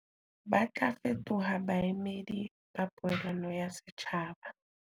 Ba tla fetoha baemedi ba poelano ya setjhaba.